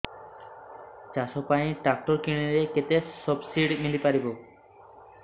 ଚାଷ ପାଇଁ ଟ୍ରାକ୍ଟର କିଣିଲେ କେତେ ସବ୍ସିଡି ମିଳିପାରିବ